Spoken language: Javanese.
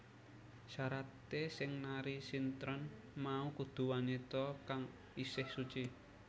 Syaraté sing nari sintren mau kudu wanita kang isih suci